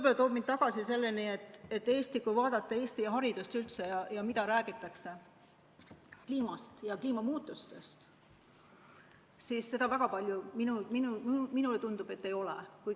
See toob mind tagasi selleni, et kui vaadata Eesti haridust üldse ja seda, mida räägitakse kliimast ja kliimamuutustest, siis seda väga palju, minule tundub, ei ole.